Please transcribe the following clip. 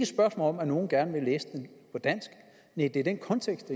spørgsmål om at nogle gerne vil læse den på dansk nej det er den kontekst